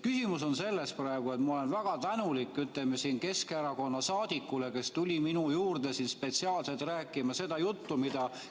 Ma olen väga tänulik Keskerakonna saadikule, kes tuli minu juurde spetsiaalselt seda juttu rääkima.